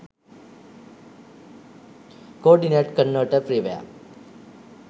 coordinate converter freeware